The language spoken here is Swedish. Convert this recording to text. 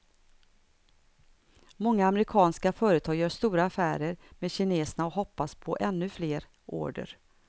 Många amerikanska företag gör stora affärer med kineserna och hoppas på ännu fler order.